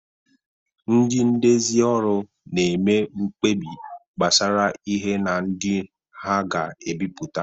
Ndị ndezi ọrụ na-eme mkpebi gbasara ihe na ndị ha ga-ebipụta